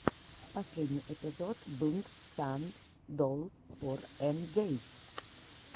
последний эпизод блнд сан долл фор эм джей